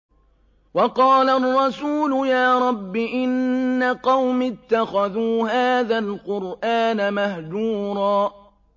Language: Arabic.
وَقَالَ الرَّسُولُ يَا رَبِّ إِنَّ قَوْمِي اتَّخَذُوا هَٰذَا الْقُرْآنَ مَهْجُورًا